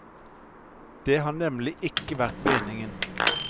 Det har nemlig ikke vært meningen.